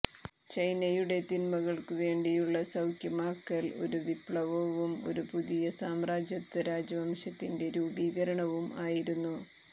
ചൈനയുടെ തിന്മകൾക്കുവേണ്ടിയുള്ള സൌഖ്യമാക്കൽ ഒരു വിപ്ളവവും ഒരു പുതിയ സാമ്രാജ്യത്വ രാജവംശത്തിന്റെ രൂപീകരണവും ആയിരുന്നു